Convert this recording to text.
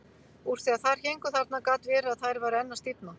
Úr því að þær héngu þarna gat verið að þær væru enn að stífna.